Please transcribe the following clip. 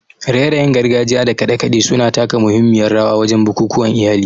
raye-rayen gargajiya da kade-kade su na taka muhimmiyar rawa wajen bukukuwan iyali.